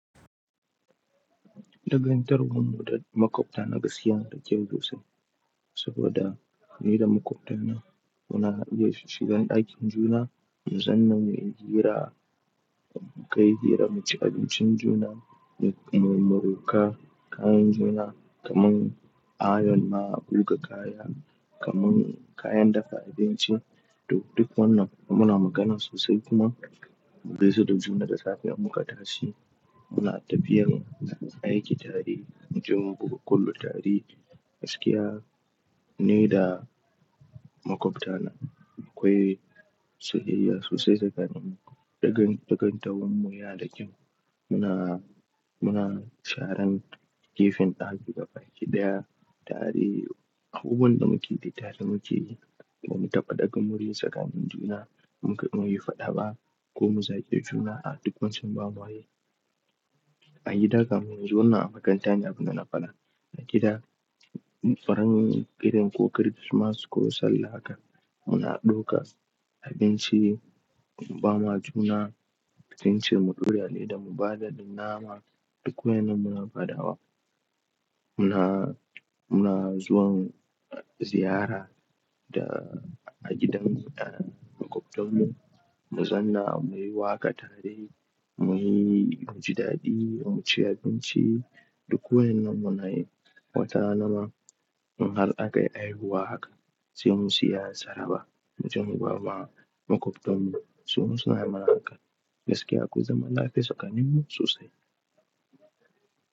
Dangantawar mu da makwabta na gaskiya da kyau sosai. Saboda ni da makwabta na muna iya shigan aikin juna, mu zanna muyi hira, mu kai hira, mu ci abincin juna, mu moroka kayan juna kaman ayon ma, buga kaya kaman kayan dafa abinci duk wannan muna magana sosai kuma. Mugaisa da juna da safe in muka tashi muna tafiyar aiki tare, mu je mubuga kwallo tare gaskiya ni da makwabta na akwai soyayya sosai tsakaninmu. Dangantawar mu ya da kyau muna, muna sharan gefen ɗaki ga baki ɗaya, tare a wurin da muke yi tare muke yi, ba mu taɓa ɗaga murya tsakanin juna. Muka kuma yi faɗa ba ko mu zagi juna a duk wancan ba mayi. A gida kan munyi wannan a makaranta ne abin dana faɗa. A gida farin gidan ko kirismatas ko sallah haka muna ɗauka abinci bama juna, kasance mu ƙungiyoyi da mu bada dinnama duk wannan muna faɗawa. Muna, muna zuwan ziyara da a gidan makwabtan mu, mu zanna muyi waƙa tare, muyi mujdaɗi, mu ci abinci duk wannan muna yi. Wata ranama in hal aka yi aihuwa haka sai mu siya saraba mu je muga wa makwabtan mu su, suna mana haka gaskiya ko zaman lafiya tsakaninmu sosai.